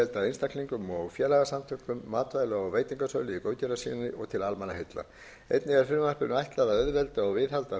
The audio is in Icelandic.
einstaklingum og félagasamtökum matvæla og veitingasölu í góðgerðarskyni til almannaheilla einnig er frumvarpinu ætlað að auðvelda og viðhalda